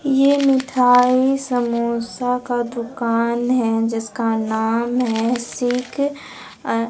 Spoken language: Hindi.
ये मिठाई समोसा का दुकान है जिसका नाम है सीख अं--